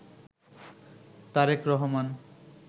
Tarique Rahman